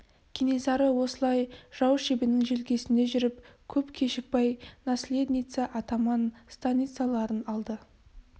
кенесары осылай жау шебінің желкесінде жүріп көп кешікпай наследница атаман станицаларын алды